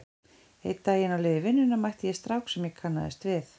Einn daginn á leið í vinnuna mætti ég strák sem ég kannaðist við.